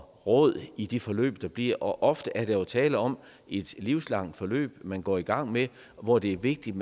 råd i de forløb der bliver og ofte er der jo tale om et livslangt forløb man går i gang med hvor det er vigtigt